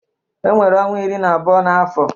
E nwere ọnwa iri na abụọ n'afọ.